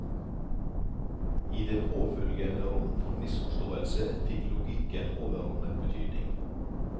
I det påfølgende rom for misforståelse, fikk logikken overordnet betydning.